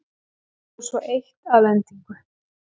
Og svo eitt að endingu.